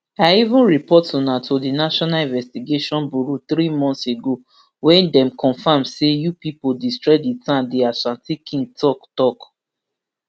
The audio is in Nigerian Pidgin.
i even report una to di national investigation bureau three months ago wia dem confam say you pipo destroy di town di ashanti king tok tok